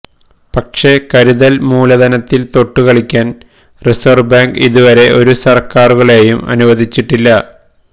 പക്ഷേ കരുതല് മൂലധനത്തില് തൊട്ടു കളിക്കാന് റിസര്വ് ബാങ്ക് ഇതുവരെ ഒരു സര്ക്കാരുകളേയും അനുവദിച്ചിട്ടില്ല